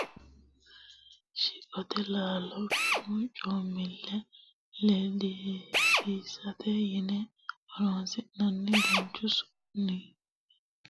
Shiqote laalcho bunu coomile ledisiisate yine horonsi'nannite danchu su'nili noosete, ha'michamu tumi kayinni sagale loosi'nanni woyte sagalete su'nile ledara karsine loosi'nannite.